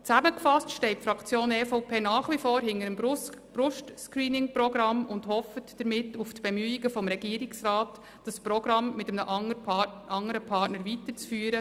Zusammengefasst steht die Fraktion EVP nach wie vor hinter dem Brust-Screening-Programm und hofft damit auf die Bemühungen des Regierungsrats, das Programm mit einem andern Partner weiterzuführen.